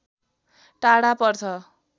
टाढा पर्छ